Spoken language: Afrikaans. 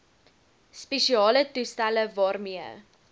spesiale toestelle waarmee